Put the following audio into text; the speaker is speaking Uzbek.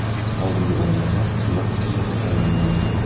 Oldingi o‘rinbosar Xiva hokimi etib tayinlangandi.